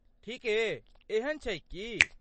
ठीके, एहन छैक की?